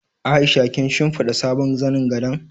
Aisha kin shimfiɗa sabon zanin gado?